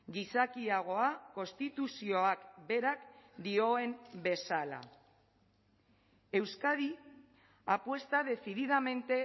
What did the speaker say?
gizakiagoa konstituzioak berak dioen bezala euskadi apuesta decididamente